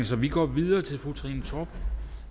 så vi går videre til fru trine torp